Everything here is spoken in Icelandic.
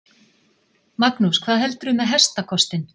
Magnús: Hvað heldurðu með hestakostinn?